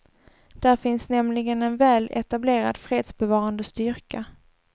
Där finns nämligen en väl etablerad fredsbevarande styrka.